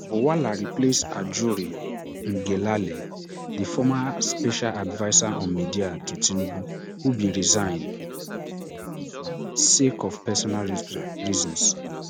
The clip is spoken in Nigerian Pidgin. bwala replace ajuri ngelale di former special adviser on media to tinubu who bin resign sake of personal reasons